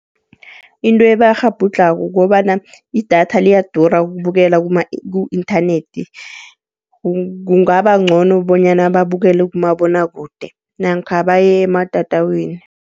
Into ebakghabhudlhako kukobana idatha liyadura ukubukela ku-inthanethi, kungaba ngcono bonyana babukele kumabonwakude namkha bayematatawini.